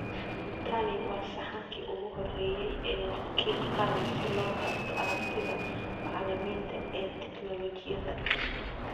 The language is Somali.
Tani waa sahankii ugu horreeyay ee wakiil qaran si loo taabto aragtida macallimiinta ee tignoolajiyada.